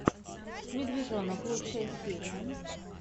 медвежонок лучшая серия